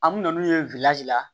An mi na n'u ye la